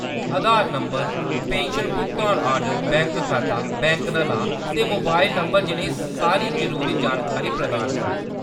आधार number, pension भुगतान order, bank खाता, bank दा नांऽ ते मोबाइल नंबर जनेही सारी जरूरी जानकारी प्रदान करो।